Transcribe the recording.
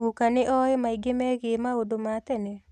Guka nĩoĩ maingĩ megiĩ maũndũ ma tene?